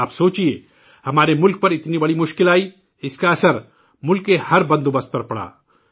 آپ سوچئے، ہمارے ملک میں اتنا بڑا بحران آیا، اسکا اثر ملک کے ایک نظام پر پڑا